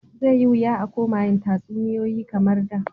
Zai yi wuya a koma yin tatsuniyoyi kamar da.